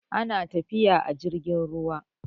ana tafiya a jirgin ruwa